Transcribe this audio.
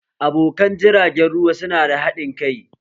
Abokan jiragen ruwa su na da haɗin kai